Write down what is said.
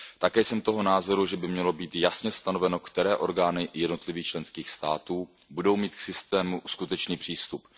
Také jsem toho názoru, že by mělo být jasně stanoveno, které orgány jednotlivých členských států budou mít k systému skutečný přístup.